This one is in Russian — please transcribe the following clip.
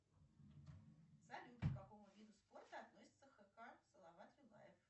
салют к какому виду спорта относится хк салават юлаев